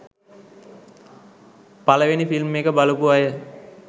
පළවෙනි ‍ෆිල්ම් එක බලපු අය